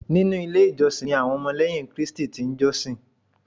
Nínú ilé ìjọsìn ni àwọn Ọmọlẹ́yìn Krístì ti n jọ́sìn